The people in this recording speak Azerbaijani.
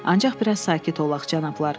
Ancaq biraz sakit olaq, cənablar.